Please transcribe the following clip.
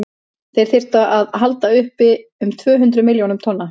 þeir þyrftu að halda uppi um tvö hundruð milljón tonnum